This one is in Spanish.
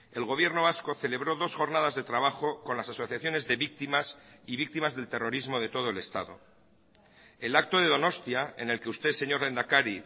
el gobierno vasco celebró dos jornadas de trabajo con las asociaciones de víctimas y víctimas del terrorismo de todo el estado el acto de donostia en el que usted señor lehendakari